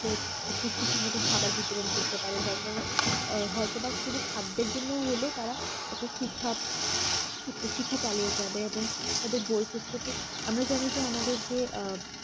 পুষ্টির সম্মত খাবার বিতরণ করতে পারে যার কারণে আ হয়তোবা শুধু খাদ্যের জন্য হলেও তারা একটু ঠিকভাব শিক্ষা চালিয়ে যাবে এবং তাদের বই পত্রকে আমরা জানি আমাদের যে আ